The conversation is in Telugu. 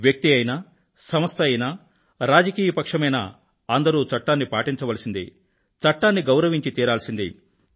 వ్యక్తి అయినా సంస్థ అయినా రాజకీయ పక్షమైనా అందరూ చట్టాన్ని పాటించవల్సిందే చట్టాన్ని గౌరవించి తీరాల్సిందే